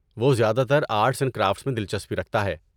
وہ زیادہ تر آرٹس اینڈ کرافٹس میں دلچسپی رکھتا ہے۔